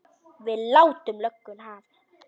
Við látum lögguna hafa það.